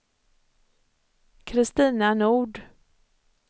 Kristina Nord